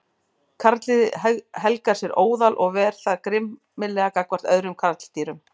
Karldýrið helgar sér óðal og ver það grimmilega gagnvart öðrum karldýrum.